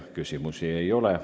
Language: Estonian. Teile küsimusi ei ole.